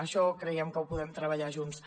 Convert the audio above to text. això creiem que ho podem treballar junts